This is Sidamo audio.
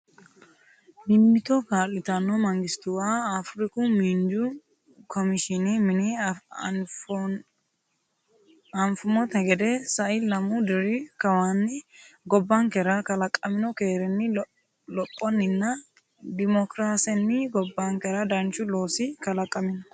Mimmito kaa’litanno mangistuwa Afriku Miinju Komishiine Mine Anfummonte gede, sai lemuu diri kawaanni gobbankera kalaqamino keerinni, lophonninna dimookiraasenni gobbankera danchu laooshi kala- qamino.